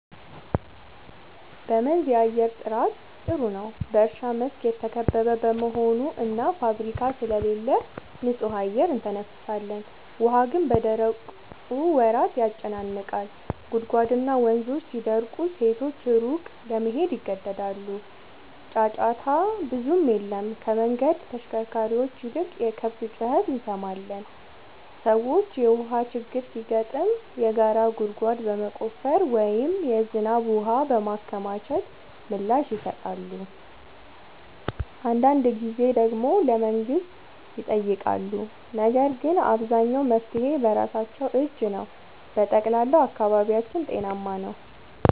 በመንዝ የአየር ጥራት ጥሩ ነው፤ በእርሻ መስክ የተከበበ በመሆኑ እና ፋብሪካ ስለሌለ ንጹህ አየር እንተነፍሳለን። ውሃ ግን በደረቁ ወራት ያጨናንቃል፤ ጉድጓድና ወንዞች ሲደርቁ ሴቶች ሩቅ ለመሄድ ይገደዳሉ። ጫጫታ ብዙም የለም፤ ከመንገድ ተሽከርካሪዎች ይልቅ የከብት ጩኸት እንሰማለን። ሰዎች የውሃ ችግር ሲገጥም የጋራ ጉድጓድ በመቆፈር ወይም የዝናብ ውሃ በማከማቸት ምላሽ ይሰጣሉ። አንዳንድ ጊዜ ደግሞ ለመንግሥት ይጠይቃሉ፤ ነገር ግን አብዛኛው መፍትሔ በራሳቸው እጅ ነው። በጠቅላላው አካባቢያችን ጤናማ ነው።